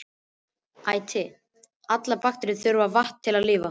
Æti: allar bakteríur þurfa vatn til að lifa.